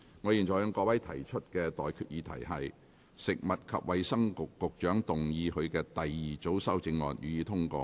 我現在向各位提出的待決議題是：食物及衞生局局長動議他的第二組修正案，予以通過。